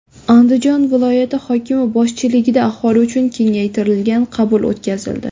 Andijon viloyati hokimi boshchiligida aholi uchun kengaytirilgan qabul o‘tkazildi.